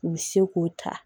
U bɛ se k'o ta